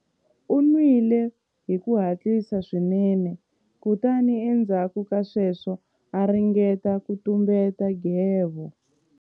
U nwile hi ku hatlisa swinene kutani endzhaku ka sweswo a ringeta ku tumbeta nghevo.